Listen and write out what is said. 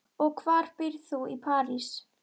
Og hvar býrð þú í París?